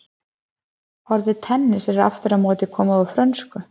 orðið tennis er aftur á móti komið úr frönsku